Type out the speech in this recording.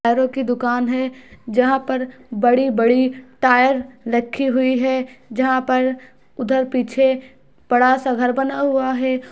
टायरो की दुकान है जहाँ पर बड़ी-बड़ी टायर रखे हुई है जहाँ पर उधर पीछे बड़ा सा घर बना हुआ है।